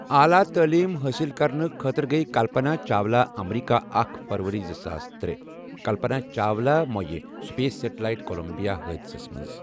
اعلیٰ تعلیم حٲصل کرنہٕ خٲطرٕ گے کلپنہ چاولہ امریٖکہ اکھ فبروری زٕ ساس ترٛے کلپنہ چاولہ گوٚو سپیس سٹیلایٹ کُلمبیا حٲدِسس منٛز مؤیہِ ۔